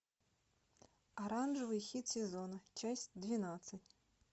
оранжевый хит сезона часть двенадцать